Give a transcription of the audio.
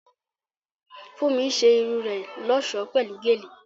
Fúnmi ṣe irun rẹ̀ lọ́ṣọ̀ọ́ pẹ̀lú gèlè